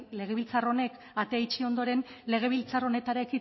legebiltzar honek atea itxi ondoren legebiltzar honetara